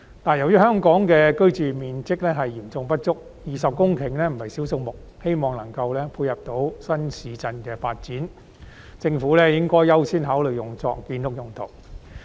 但由於香港的居住面積嚴重不足 ，20 公頃不是少數目，我希望有關土地的用途能夠配合新市鎮的發展。政府應該優先考慮將有關土地用作建屋用途。